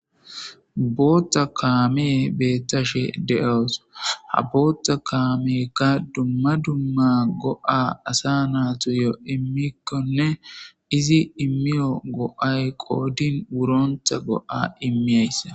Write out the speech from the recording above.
Botha kamey betashe de'awus botha kameyka duma duma go'a asa natuyo imikonee izi imewu go'ay qodini woronaba